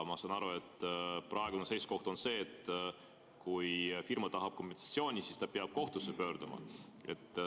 Ma saan aru, et praegune seisukoht on see, et kui firma tahab kompensatsiooni, siis ta peab kohtusse pöörduma.